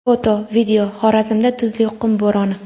Foto, video: Xorazmda tuzli qum bo‘roni.